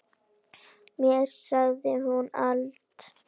Mér segir hún allt: